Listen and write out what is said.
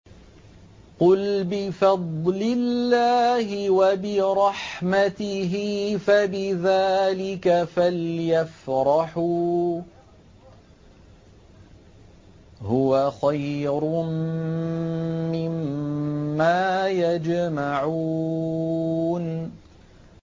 قُلْ بِفَضْلِ اللَّهِ وَبِرَحْمَتِهِ فَبِذَٰلِكَ فَلْيَفْرَحُوا هُوَ خَيْرٌ مِّمَّا يَجْمَعُونَ